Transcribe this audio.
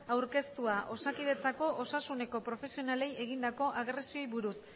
aurkeztua osakidetzako osasuneko profesionalei egindako agresioei buruz